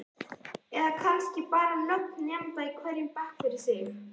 Eða kannski bara nöfn nemenda í hverjum bekk fyrir sig?